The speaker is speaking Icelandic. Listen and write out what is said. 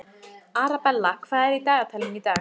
Arabella, hvað er í dagatalinu í dag?